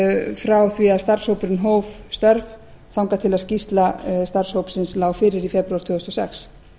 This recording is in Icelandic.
frá því að starfshópurinn hóf störf þangað til skýrsla starfshópsins lá fyrir í febrúar tvö þúsund og sex